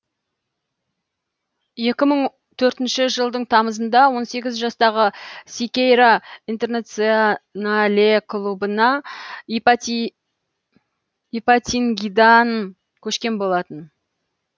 екі мың төртінші жылдың тамызында он сегіз жастағы сикейра интернационале клубына ипатингидан көшкен болатын